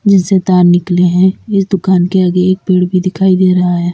जिनसे तार निकले है इस दुकान के आगे एक पेड़ भी दिखाई दे रहा है।